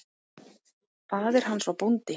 Faðir hans var bóndi.